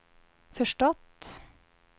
förstått